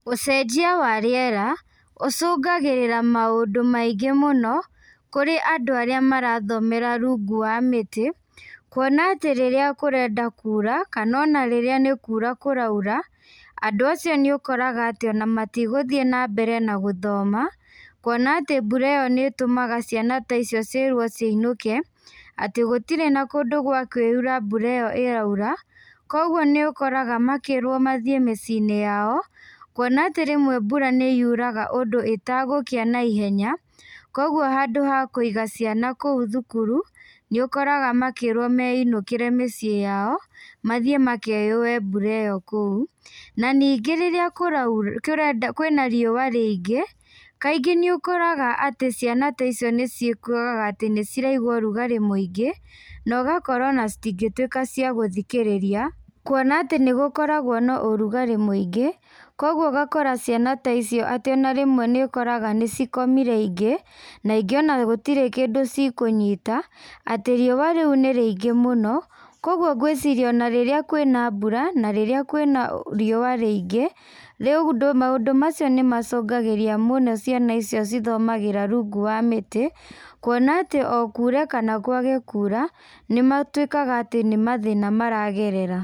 Ũcenjia wa rĩera ũcungagĩrĩra maũndũ maingĩ mũno, kũrĩ andũ arĩa marathomera rungu wa mĩtĩ, kuona atĩ rĩrĩa kũrenda kura, kana ona rĩrĩa nĩkura kũraura, andũ acio nĩũkoraga atĩ ona matigũthiĩ nambere na gũthoma, kuona atĩ mbura ĩyo nĩtũmaga ciana ta icio ciĩrwo ciinũke, atĩ gũtirĩ na kũndũ gwa kwĩũa mbura ĩyo ĩraura, koguo nĩũkoraga makĩrwo mathiĩ mĩciĩinĩ yao, kuona atĩ rĩmwe mbura nĩyuraga ũndũ ĩtagũkĩa na ihenya, koguo handũ ha kũiga ciana kũu thukuru, nĩũkoraga makĩrwo meinũkĩre mĩciĩ yao, mathiĩ makeyũe mbura ĩyo kũu, na ningĩ rĩrĩa kũraura, kũrenda kwĩna riua rĩingĩ, kaingĩ nĩ ũkoraga atĩ ciana ta icio nĩciĩkoraga atĩ nĩciraigua ũrugarĩ mũingĩ, na ũgakora ona citingĩtuĩka cia gũthikĩrĩria, kuona atĩ nĩgũkoragwo na ũrugarĩ mũingĩ, koguo ũgakora ciana ta icio atĩ ona rĩmwe nĩũkoraga nĩcikomire ingĩ, na ingĩ ona gũtirĩ kĩndũ cikũnyita, atĩ riua rĩu nĩ rĩingĩ mũno, koguo ngwĩciria ona rĩrĩa kwĩna mbura, na rĩrĩa kwĩna riũa rĩingĩ, rĩu maũndũ macio nĩmacungagĩria mũno ciana icio cithomagĩra rungu wa mĩtĩ, kuona atĩ o kure kana kwage kura, nĩmatuĩkaga atĩ nĩmathĩna maragerera.